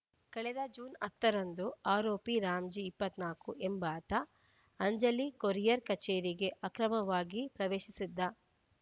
ಕಳೆದ ಜುಲೈ ಹತ್ತ ರಂದು ಆರೋಪಿ ರಾಮ್‌ಜಿ ಇಪ್ಪತ್ತ್ ನಾಲ್ಕು ಎಂಬಾತ ಅಂಜಲಿ ಕೊರಿಯಾರ್ ಕಚೇರಿಗೆ ಅಕ್ರಮವಾಗಿ ಪ್ರವೇಶಿಸಿದ್ದ